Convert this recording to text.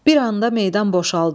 Bir anda meydan boşaldı.